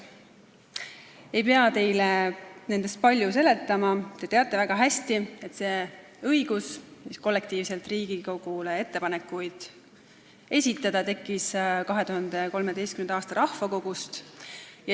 Ei pea teile seda palju seletama, te teate väga hästi, et õigus kollektiivselt Riigikogule ettepanekuid esitada tekkis tänu 2013. aastal toimunud rahvakogule.